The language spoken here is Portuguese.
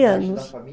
anos